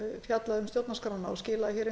fjallaði um stjórnarskrána og skilaði